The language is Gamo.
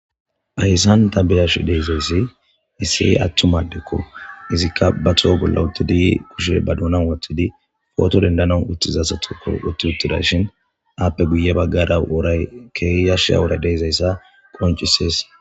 Haysan ta beyashe dizay Issi attuma addeko izika ba toho bolla uttidi kushe ba doonsn wothidi poto dendana uttiza asatho uttides izappe guye bagara woray keehi yashiza woray de'izaysa qoncises